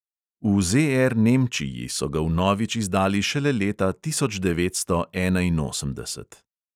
V ZR nemčiji so ga vnovič izdali šele leta tisoč devetsto enainosemdeset.